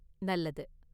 நல்லது.